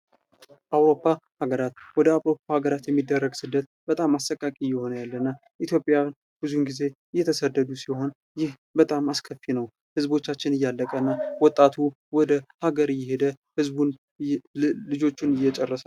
አውሮፓ ሀገራት ወደ አውሮፓ ሀገራት የሚደረግ ስደት በጣም አሰቃቂ የሆነ ያለ እና ኢትዮጵያን ብዙን ጊዜ የተሰደዱ ሲሆን ይህ በጣም አስከፊ ነው። ህዝቦቻችን እያለቀና ወጣቱ ወደ ህዝቡን ልጆችን እየጨረሰ ነው።